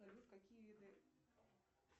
салют какие виды